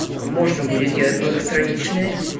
можно будет делать многостраничные